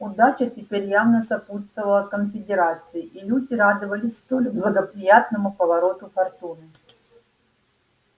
удача теперь явно сопутствовала конфедерации и люди радовались столь благоприятному повороту фортуны